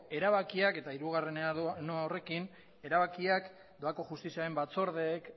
erabakiak eta hirugarrenera noa horrekin erabakiak doako justiziaren batzordeek